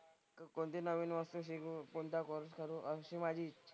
कोणती नवीन वस्तू शिकू, कोणता कोर्स करू अशी माझी इच्छा,